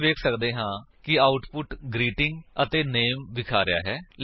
ਅਸੀ ਵੇਖ ਸੱਕਦੇ ਹਾਂ ਕਿ ਆਉਟਪੁਟ ਗ੍ਰੀਟਿੰਗ ਅਤੇ ਨਾਮੇ ਵਿਖਾ ਰਿਹਾ ਹੈ